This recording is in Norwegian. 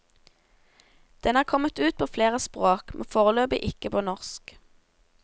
Den er kommet ut på flere språk, men foreløpig ikke på norsk.